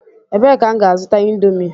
Ebee ka m ga-azuta indomie?